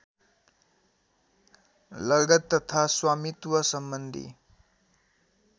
लगत तथा स्वामित्वसम्बन्धी